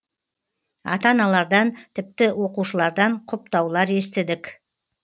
ата аналардан тіпті оқушылардан құптаулар естідік